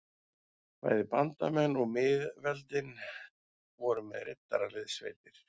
Bæði bandamenn og miðveldin voru með riddaraliðssveitir.